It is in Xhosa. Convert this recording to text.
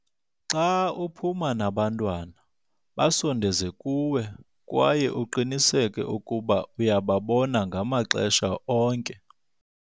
Xa uphuma nabantwana, basondeze kuwe kwaye uqiniseke ukuba uyababona ngamaxesha onke.